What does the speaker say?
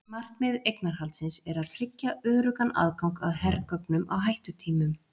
markmið eignarhaldsins er að tryggja öruggan aðgang að hergögnum á hættutímum